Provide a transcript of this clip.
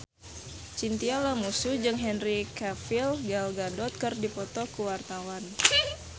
Chintya Lamusu jeung Henry Cavill Gal Gadot keur dipoto ku wartawan